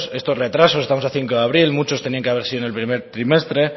estos retrasos estamos a cinco de abril muchos tenían que haber sido en el primer trimestre